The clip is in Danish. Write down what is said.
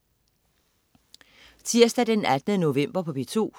Tirsdag den 18. november - P2: